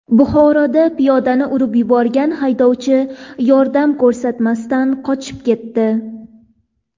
Buxoroda piyodani urib yuborgan haydovchi yordam ko‘rsatmasdan qochib ketdi.